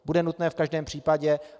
Bude nutné v každém případě.